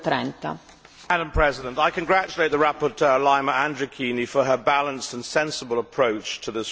Madam President, I congratulate the rapporteur, Laima Andrikienė, for her balanced and sensible approach to this report.